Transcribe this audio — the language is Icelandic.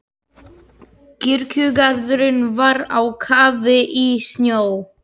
Kirkjugarðurinn var á kafi í snjó.